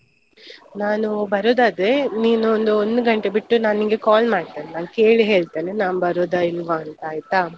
ನಾನು ಬರುದಾದ್ರೆ, ನೀನೊಂದ್ ಒಂದು ಗಂಟೆ ಬಿಟ್ಟು ನಾನ್ ನಿಂಗೆ call ಮಾಡ್ತೇನೆ ನಾನ್ ಕೇಳಿ ಹೇಳ್ತೇನೆ. ನಾನ್ ಬರುದಾ ಇಲ್ವಾ ಅಂತ ಆಯ್ತಾ?